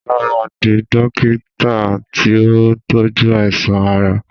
Sọlá máa di dókítà tí ó ń tojú àìsàn ara